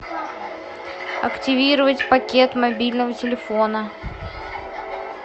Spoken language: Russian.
активировать пакет мобильного телефона